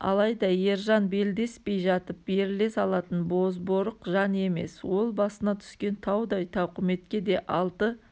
алайда ержан белдеспей жатып беріле салатын бозборық жан емес ол басына түскен таудай тауқыметке де алты